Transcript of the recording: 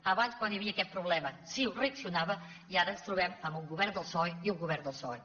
abans quan hi havia aquest problema ciu reaccionava i ara ens trobem amb un govern del psoe i un govern del psoe